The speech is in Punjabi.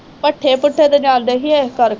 ਭੱਠੇ ਭੂੱਠੇ ਤੇ ਜਾਂਦੇ ਸੀ ਇਸ ਕਰ